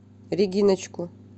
региночку